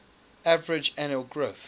average annual growth